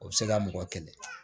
O bɛ se ka mɔgɔ kɛlɛ